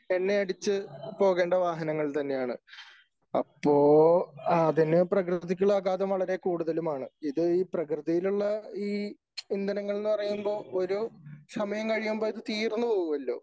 എണ്ണ അടിച്ച് പോകേണ്ട വാഹനങ്ങൾ തന്നെയാണ് . അപ്പോ അതിന് പ്രകൃതിക്കുള്ള ആഘാതം വളരെ കൂടുതലുമാണ് . ഇത് ഈ പ്രകൃതിയിലുള്ള ഇന്ധനങ്ങൾ എന്ന് പറയുമ്പോ ഒരു സമയം കഴിയുമ്പോ ഇത് തീർന്നു പോകുമല്ലോ